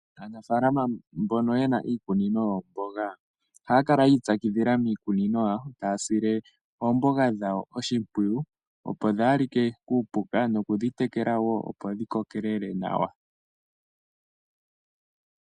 Aanafaalama mboka yena iikunino yoomboga ohaya kala yiitsakidhila miikunino yawo taya sile oomboga dhawo oshimpwiyu opo dhaa li ke kuupuka nokudhitekela woo opo dhi kokelele nawa.